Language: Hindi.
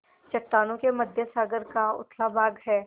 चट्टानों के मध्य सागर का उथला भाग है